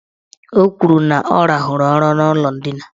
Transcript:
O kwuru na ọ rahụrụ ụra n' ụlọ ndina.